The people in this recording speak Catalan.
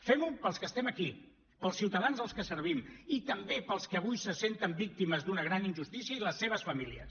fem ho pels que estem aquí pels ciutadans als que servim i també pels que avui se senten víctimes d’una gran injustícia i les seves famílies